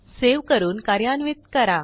save करून कार्यान्वित करा